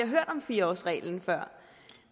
hørt om fire årsreglen før